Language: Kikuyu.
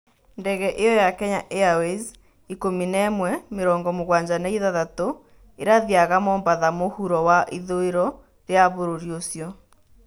Ndege ĩyo ya Kenya airways 11-76 ĩrathiaga Mombatha mũhuro wa ithũĩro ria bũrũri ũcio